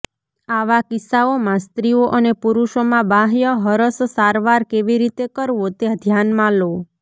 આવા કિસ્સાઓમાં સ્ત્રીઓ અને પુરૂષોમાં બાહ્ય હરસ સારવાર કેવી રીતે કરવો તે ધ્યાનમાં લો